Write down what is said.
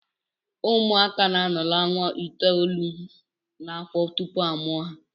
Ụmụaka na-anọ ọnwa itoolu n'afọ tupu a mụọ ha